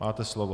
Máte slovo.